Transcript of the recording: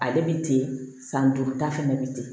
Ale bɛ ten san duuru ta fɛnɛ bɛ ten